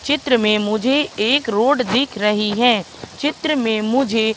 चित्र में मुझे एक रोड दिख रही है चित्र में मुझे--